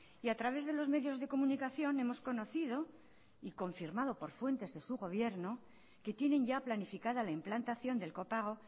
y a través de los medios de comunicación hemos conocido y confirmado por fuentes de su gobierno que tienen ya planificada la implantación del copago